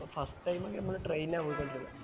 അപ്പൊ first time ഞങ്ങൾ train ആണ് പോയ്കൊണ്ടിരുന്നേ